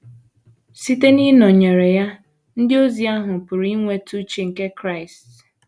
Site n’ịnọnyere ya, ndị ozi ahụ pụrụ inwetatụ uche nke Kraịst.